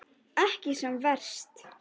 Ekki sem verst.